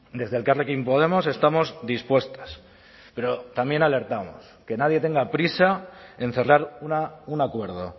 desde elkarrekin podemos estamos dispuestas pero también alertamos que nadie tenga prisa en cerrar un acuerdo